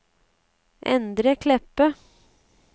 Endre Kleppe